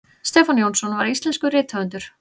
stefán jónsson var íslenskur rithöfundur